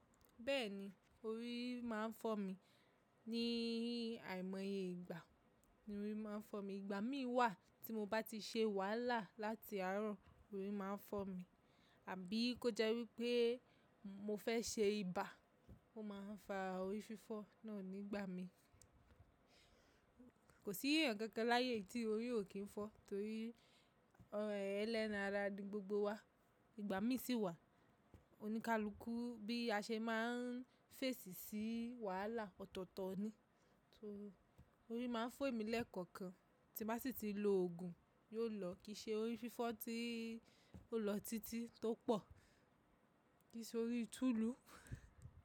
Bẹ́ẹ̀ni, orí máa ń fọ́ mi ní àìmọye ìgbà ni orí máa ń fọ́ mi. Ìgbà mí wà tí mo bá ti ṣe wàhálà láti àárọ̀ orí máa ń fọ́ mi, tàbí kó jẹ́ wípé mo fẹ́ ṣe ibà ó máa ń fa orí fífọ́ fún mi nígbà mí. Kò sí èèyàn kankan láyé tí orí ò kí ń fọ́ nítorí ẹlẹ́ran ara ni gbogbo wa. Ìgbà mí sì wà, oníkálukú bí a ṣe máa ń fèsì sí wàhálà ọ̀tọ̀ọ̀tọ̀ ni. Orí máa ń fọ́ mi lẹ́ẹ̀kọ̀kan tí n ba sì ti lo òògùn, yóò lọ kí ṣe orí fífọ́ tí ó lọ títí tó pọ̀, kí i ṣe orí tulu.